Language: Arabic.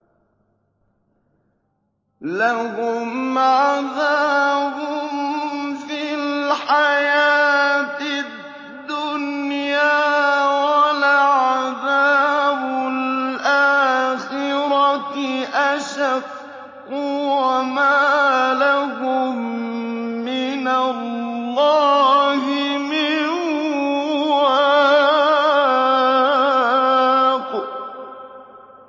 لَّهُمْ عَذَابٌ فِي الْحَيَاةِ الدُّنْيَا ۖ وَلَعَذَابُ الْآخِرَةِ أَشَقُّ ۖ وَمَا لَهُم مِّنَ اللَّهِ مِن وَاقٍ